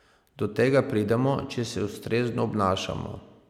Do tega pridemo, če se ustrezno obnašamo.